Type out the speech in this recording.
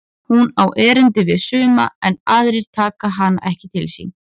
Hún á erindi við suma en aðrir taka hana ekki til sín.